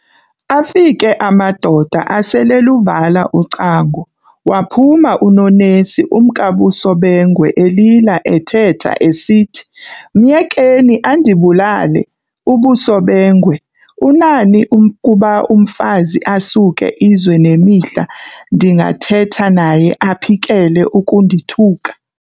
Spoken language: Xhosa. Afike amadoda asel'eluvala ucango, waphuma uNonesi umkaBusobengwe, elila ethetha esithi, "Myekeni andibulale.". UBusobengwe, "Unani ukuba umfazi asuke izwe nemihla ndingathetha naye aphikele ukundithuka?"